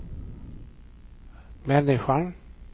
människan